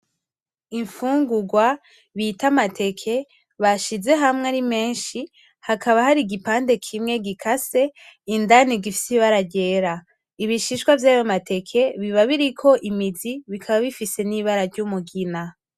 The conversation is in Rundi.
Imfungugwa bita amateke bashize hamwe arimenshi hakaba hari igipande kimwe gikase indani gifise ibara ryera. ibishishwa vyayo mateke biba biriko imizi bikaba bifise n’ibara ry’umugina.